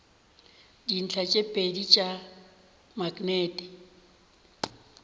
dintlha tše pedi tša maknete